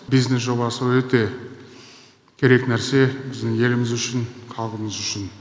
бизнес жобасы өте керек нәрсе біздің еліміз үшін халқымыз үшін